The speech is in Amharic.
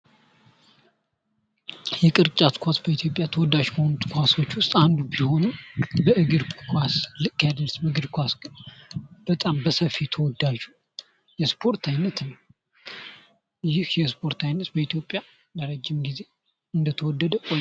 የቅርጫት ኳስ በኢትዮጵያ ተወዳጅ ከሆኑት ኳሶች ዉስጥ አንዱ ቢሆንም በእግር ኳስ ልክ አይደርስም። እግር ኳስ በጣም በሰፊ ተወዳጅ የስፖርት አይነት ይህ የስፖርት አይነት በኢትዮጵያ ለረጅም ጊዜ እንደተወደደ ቆይቷል።